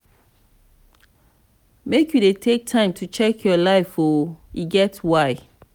make you dey take time to check your life o e get why.